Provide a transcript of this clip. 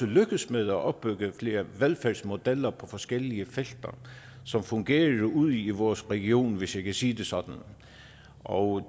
lykkedes med at opbygge flere velfærdsmodeller på forskellige felter som fungerer ude i vores region hvis jeg kan sige det sådan og